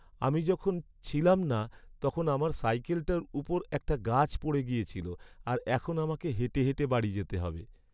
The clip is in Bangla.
আমি যখন ছিলাম না তখন আমার সাইকেলটার উপর একটা গাছ পড়ে গিয়েছিল, আর এখন আমাকে হেঁটে হেঁটে বাড়ি যেতে হবে।